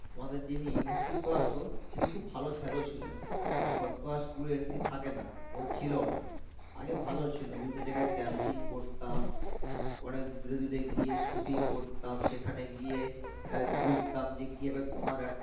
তিনি খুভ ভালো shadow ছিলেন, এখন তো school এ NC থাকে না ও ছিল ও না আগে ভালো ছিল বিভিন্ন জায়গায় campaign করতাম, পরে দূরে দূরে গিয়ে shooting করতাম সেখানে গিয়ে আহ এক বাস দাম দেকিয়ে তোমার আবার